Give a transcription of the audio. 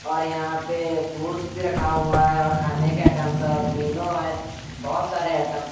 और यहां पे बुश भी रखा हुआ है और खाने के आइटम्स और इनो है बहुत सारे आइटम्स --